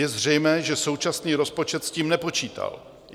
Je zřejmé, že současný rozpočet s tím nepočítal.